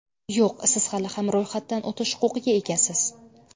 Yo‘q, siz hali ham ro‘yxatdan o‘tish huquqiga egasiz.